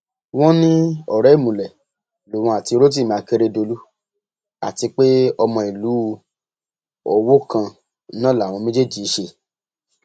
wọn ní ọrẹ ìmùlẹ lòun àti rotimi akeredolu àti pé ọmọ ìlú owó kan náà làwọn méjèèjì í ṣe